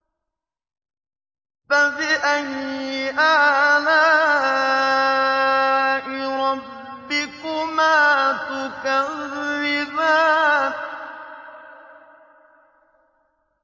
فَبِأَيِّ آلَاءِ رَبِّكُمَا تُكَذِّبَانِ